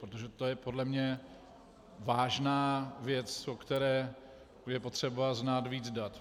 Protože to je podle mě vážná věc, o které je potřeba znát víc dat.